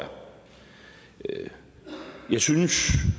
jeg jeg synes